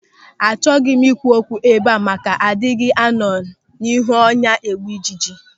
Achọghị m ikwu okwu ebe a maka na adịghị anọ n'ihu ọnya egbu ịjiji.